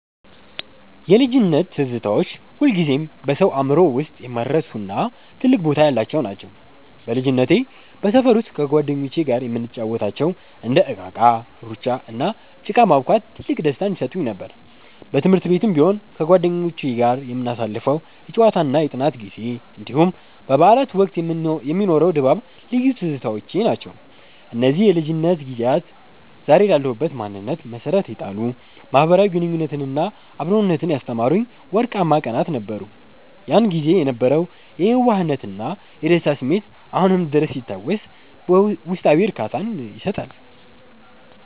የልጅነት ትዝታዎች ሁልጊዜም በሰው አእምሮ ውስጥ የማይረሱና ትልቅ ቦታ ያላቸው ናቸው። በልጅነቴ በሰፈር ውስጥ ከጓደኞቼ ጋር የምንጫወታቸው እንደ እቃቃ፣ ሩጫ፣ እና ጭቃ ማቡካት ትልቅ ደስታን ይሰጡኝ ነበር። በትምህርት ቤትም ቢሆን ከጓደኞቼ ጋር የምናሳልፈው የጨዋታና የጥናት ጊዜ፣ እንዲሁም በበዓላት ወቅት የሚኖረው ድባብ ልዩ ትዝታዎቼ ናቸው። እነዚህ የልጅነት ጊዜያት ዛሬ ላለሁበት ማንነት መሠረት የጣሉ፣ ማኅበራዊ ግንኙነትንና አብሮነትን ያስተማሩኝ ወርቃማ ቀናት ነበሩ። ያን ጊዜ የነበረው የየዋህነትና የደስታ ስሜት አሁንም ድረስ ሲታወስ ውስጣዊ እርካታን ይሰጣል።